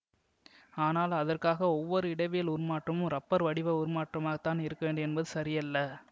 ஆனால் அதற்காக ஒவ்வொரு இடவியல் உருமாற்றமும் ரப்பர் வடிவ உருமாற்றமாகத்தான் இருக்கவேண்டும் என்ப சரியல்ல